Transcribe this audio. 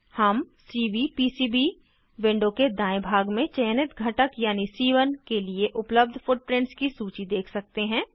हम CVPCB window के दायें भाग में चयनित घटक यानी सी1 के लिए उपलब्ध फुटप्रिंट्स की सूची देख सकते हैं